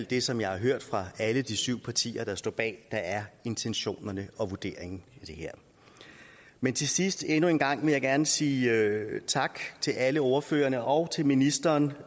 det som jeg har hørt fra alle de syv partier der står bag er intentionerne og vurderingen i det her men til sidst endnu en gang gerne sige tak til alle ordførerne og til ministeren